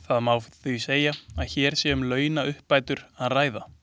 Það má því segja að hér sé um launauppbætur að ræða.